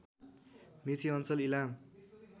मेची अञ्चल इलाम